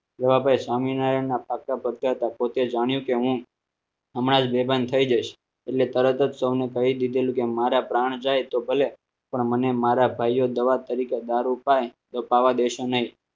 રવા ભાઈ સ્વામિનારાયણ ના પોતે જાણ્યું કે હું હમણાં જ મેદાન થઈ જઈશ એટલે તરત જ સૌને કહી દીધેલું કે મારે પ્રાણ જાય તો ભલે પણ મને મારા ભાઈઓ દવા તરીકે દારૂ પાય તો પાવા દેશો નહીં